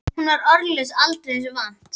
Hún var orðlaus aldrei þessu vant.